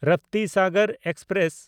Raptisagar express